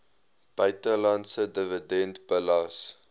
buitelandse dividend belas